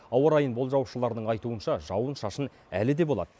ауа райын болжаушылардың айтуынша жауын шашын әлі де болады